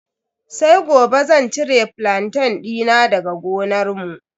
Sai gobe zan cire flantain dina daga gonarmu.